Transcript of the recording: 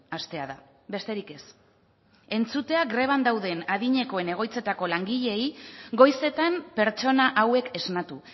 hastea da besterik ez entzutea greban dauden adinekoen egoitzetako langileei goizetan pertsona hauek esnatu